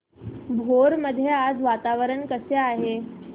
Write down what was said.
भोर मध्ये आज वातावरण कसे आहे